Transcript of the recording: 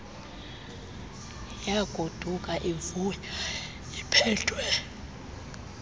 yagoduka ivuya iiphethwe